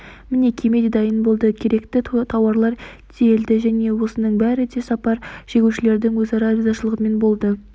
міне кеме де дайын болды керекті тауарлар тиелді және осының бәрі де сапар шегушілердің өзара ризашылығымен болды